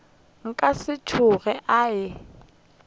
ka se tsoge a e